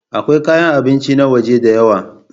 Akwai kayan abinci na waje da yawa.